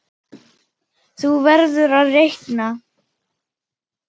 Þú verður að reikna